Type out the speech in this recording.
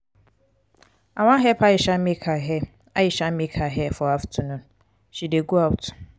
i wan help aisha make her aisha make her hair for afternoon. she dey go out.